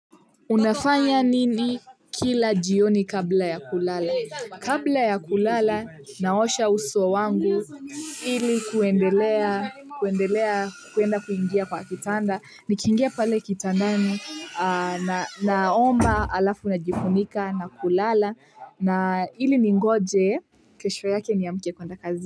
Unafanya nini kila jioni kabla ya kulala? Kabla ya kulala naosha uso wangu ili kuendelea kuenda kuingia kwa kitanda, nikiingia pale kitandani naomba alafu najifunika na kulala na ili ningoje kesho yake niamke kuenda kazi.